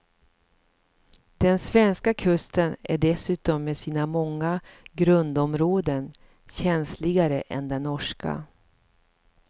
Den svenska kusten är dessutom med sina många grundområden känsligare än den norska.